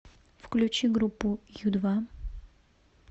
включи группу ю два